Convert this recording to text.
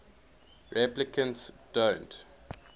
replicants don't